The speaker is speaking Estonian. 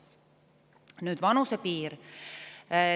Nüüd vanusepiir.